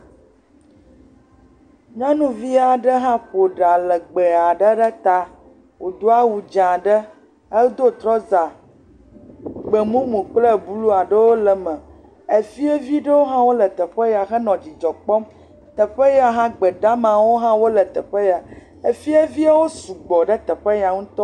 Nyɔnuvi aɖe hã ƒo ɖa legbe aɖe ɖe ta wòdo awu dzẽ aɖe. Edo trɔza, gbemumu kple blu aɖewo le me. Efievi ɖewo hã wole teƒe ya henɔ dzidzɔ kpɔm. Teƒe ya hã, gbe damawo hã wole teƒe ya . Efieviawo su gbɔ ɖe teƒe ya ŋutɔ.